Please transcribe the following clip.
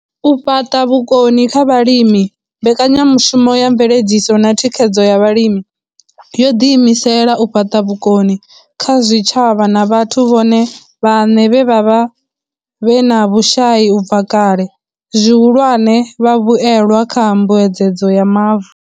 U fhaṱa vhukoni kha vhalimi mbekanyamushumo ya mveledziso na thikhedzo ya vhalimi yo ḓiimisela u fhaṱa vhukoni kha zwitshavha na vhathu vhone vhaṋe vhe vha vha vhe na vhushai u bva kale, zwihulwane, vhavhuelwa kha mbuedzedzo ya mavu.